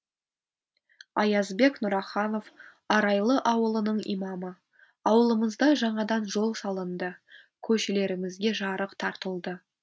аязбек нұраханов арайлы ауылының имамы ауылымызда жаңадан жол салынды көшелерімізге жарық тартылды